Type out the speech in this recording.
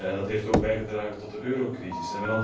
Dat heeft ook bijgedragen tot de eurocrisis.